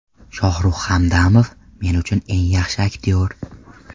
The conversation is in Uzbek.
Shohruh Hamdamov men uchun eng yaxshi aktyor.